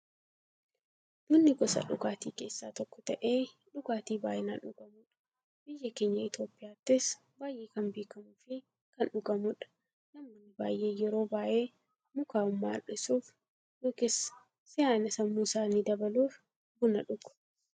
Bunni gosa dhugaatii keessaa tokko ta'ee, dhugaatii baay'inaan dhugamuudha. Biyya keenya Itiyoophiyaattis baay'ee kan beekamuufi kan dhugamuudha. Namoonni baay'een yeroo baay'ee, mukaa'ummaa irrisuuf yookiin siyaa'ina sammuu isaanii dabaluuf buna dhugu.